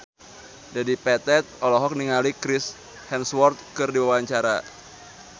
Dedi Petet olohok ningali Chris Hemsworth keur diwawancara